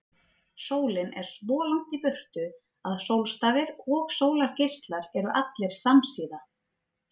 Sólin er svo langt í burtu að sólstafir og sólargeislar eru allir samsíða.